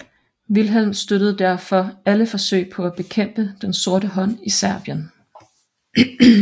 Wilhelm støttede derfor alle forsøg på at bekæmpe Den sorte hånd i Serbien